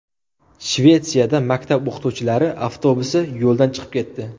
Shvetsiyada maktab o‘quvchilari avtobusi yo‘ldan chiqib ketdi.